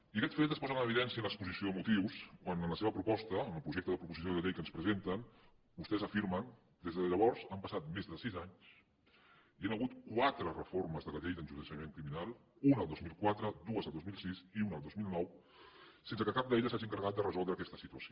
i aquest fet es posa en evidència en l’exposició de motius quan en la seva proposta en el projecte de proposició de llei que ens presenten vostès afirmen des de llavors han passat més de sis anys hi han hagut quatre reformes de la llei d’enjudiciament criminal una al dos mil quatre dues al dos mil sis i una al dos mil nou sense que cap d’elles s’hagi encarregat de resoldre aquesta situació